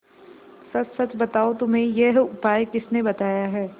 सच सच बताओ तुम्हें यह उपाय किसने बताया है